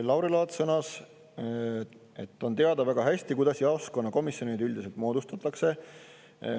Lauri Laats sõnas, et on väga hästi teada, kuidas jaoskonnakomisjonid üldiselt moodustatakse.